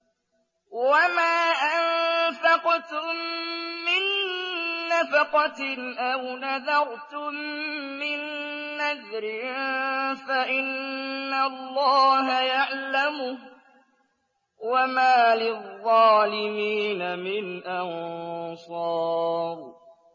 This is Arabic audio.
وَمَا أَنفَقْتُم مِّن نَّفَقَةٍ أَوْ نَذَرْتُم مِّن نَّذْرٍ فَإِنَّ اللَّهَ يَعْلَمُهُ ۗ وَمَا لِلظَّالِمِينَ مِنْ أَنصَارٍ